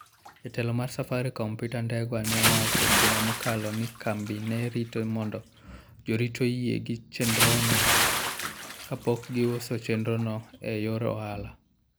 Jatelo mar Safaricom Peter Ndegwa ne owacho juma mokalo ni kambi ne rito mondo jorit oyie gi chenrono kapok giuso chenrono e yor ohala.